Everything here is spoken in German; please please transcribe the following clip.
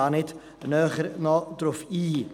Was auch wichtig ist: